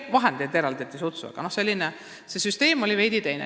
Vahendeid on sutsu eraldatud, aga süsteem on veidi teine olnud.